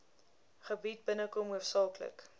gebied binnekom hoofsaaklik